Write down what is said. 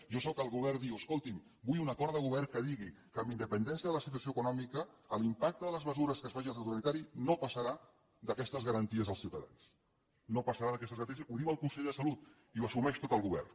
jo sóc el que al govern diu escolti’m vull un acord de govern que digui que amb independència de la situació econòmica l’impacte de les mesures que es facin al sector sanitari no passarà d’aquestes garanties als ciutadans no passarà d’aquestes garanties ho diu el conseller de salut i ho assumeix tot el govern